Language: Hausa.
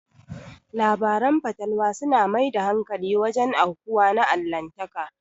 Labarin fatalwa su na mai da hankali wajen aukuwa na Allahntaka